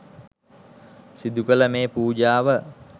සිදුකළ මේ පූජාව